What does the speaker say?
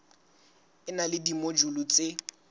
e na le dimojule tse